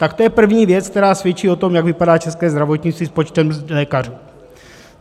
Tak to je první věc, která svědčí o tom, jak vypadá české zdravotnictví s počtem lékařů.